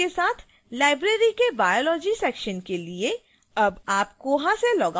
उचित विवरण के साथ लाइब्रेरी के biology section के लिए